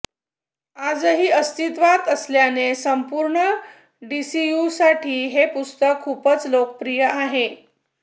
आजही अस्तित्वात असल्याने संपूर्ण डीसीयूसाठी हे पुस्तक खूपच लोकप्रिय आहे